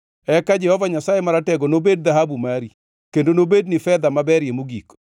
eka Jehova Nyasaye Maratego nobed dhahabu mari, kendo nobedni fedha maberie mogik.